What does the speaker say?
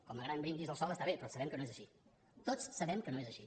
com a gran brindis al sol està bé però sabem que no és així tots sabem que no és així